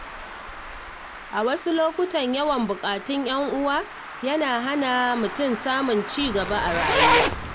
A wasu lokutan, yawan buƙatun ‘yan uwa yana iya hana mutum samun ci gaba a rayuwa.